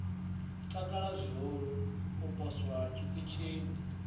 takala zwihulu u poswa tshiṱitshini